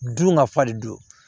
Dun ka fa de don